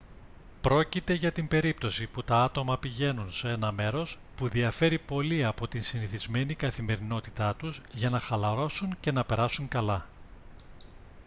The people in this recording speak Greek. πρόκειται για την περίπτωση που τα άτομα πηγαίνουν σε ένα μέρος που διαφέρει πολύ από τη συνηθισμένη καθημερινότητά τους για να χαλαρώσουν και να περάσουν καλά